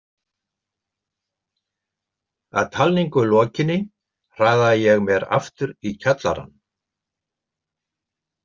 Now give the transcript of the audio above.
Að talningu lokinni hraðaði ég mér aftur í kjallarann.